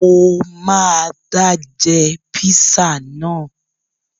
Mo máa dá jẹ píṣà náà